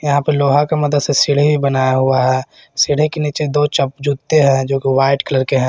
यहां पर लोहा के मदद से सीढ़ी बनाया हुआ है सीढ़ी के नीचे दो जूते हैं जो कि वाइट कलर के हैं।